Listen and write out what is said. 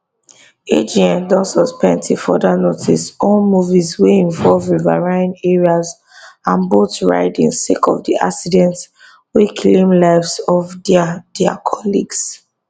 agn don suspend till further notice all movies wey involve riverine areas and boat riding sake of di accident wey claim lives of dia dia colleagues